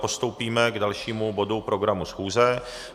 Postoupíme k dalšímu bodu programu schůze.